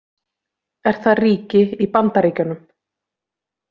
Er það ríki í Bandaríkjunum?